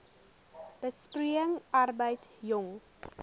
besproeiing arbeid jong